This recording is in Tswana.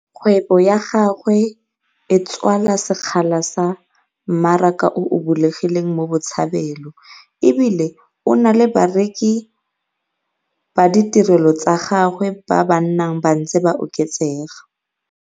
Kgwebo ya gagwe e tswala sekgala sa mmaraka o o bulegileng mo Botshabelo e bile o na le bareki ba ditirelo tsa gagwe ba ba nnang ba ntse ba oketsega.